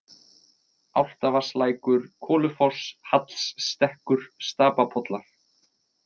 Álftavatnslækur, Kolufoss, Hallsstekkur, Stapapollar